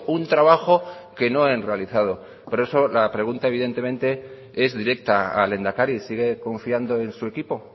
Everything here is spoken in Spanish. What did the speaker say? un trabajo que no han realizado por eso la pregunta evidentemente es directa al lehendakari sigue confiando en su equipo